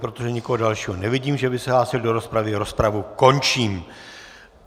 Protože nikoho dalšího nevidím, že by se hlásil do rozpravy, rozpravu končím.